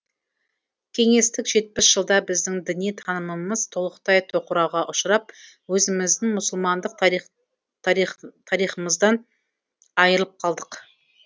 кеңестік жетпіс жылда біздің діни танымымыз толықтай тоқырауға ұшырап өзіміздің мұсылмандық тарихымыздан айырылып қалдық